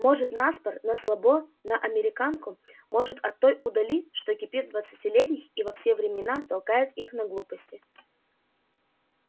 может на спор на слабо на американку может от той удали что кипит в двадцатилетних и во все времена толкает их на глупости